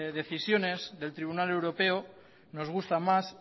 decisiones del tribunal europeo nos gustan más